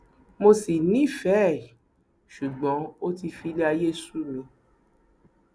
mo ṣì nífẹẹ ẹ ṣùgbọn ó ti filé ayé sú mi